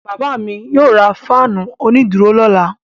Bàbá mi yóò ra fáánù onídùúró lọ́la.